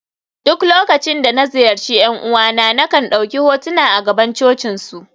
duk lokacin da na ziyarci ’yan uwana, na kan dauki hotuna a gaban cocinsu